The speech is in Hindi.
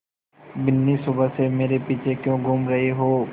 बिन्नी सुबह से मेरे पीछे क्यों घूम रहे हो